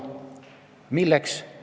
Milleks?